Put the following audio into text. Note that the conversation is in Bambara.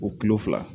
O kulo fila